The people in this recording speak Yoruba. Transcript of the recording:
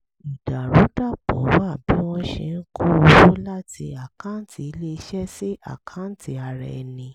ìdàrúdàpọ̀ wà bí wọ́n ṣe ń kó owó láti àkáǹtì ilé-iṣẹ́ sí àkáǹtì ara ẹni